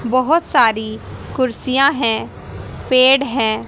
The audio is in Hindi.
बहुत सारी कुर्सियां हैं पेड़ है।